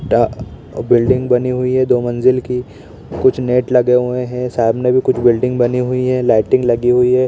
बा बिल्डिंग बनी हुई है दो मंजिल की कुछ नेट लगे हुए हैं सामने भी कुछ बिल्डिंग बनी हुई है लाइटिंग लगी हुई है।